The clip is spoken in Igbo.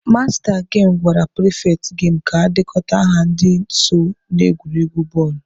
Masta gemụ gwara pịrịfetị gemu ka ọ dekọta aha ndị so n'egwuregwu bọọlụ.